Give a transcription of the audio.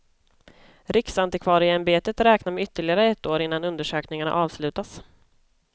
Riksantikvarieämbetet räknar med ytterligare ett år innan undersökningarna avslutas.